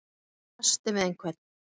Að eiga í kasti við einhvern